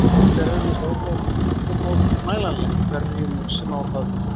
Þetta er augljóst og ómótmælanlegt hverjum sem á það vill líta.